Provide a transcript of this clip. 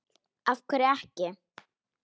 af hverju ekki?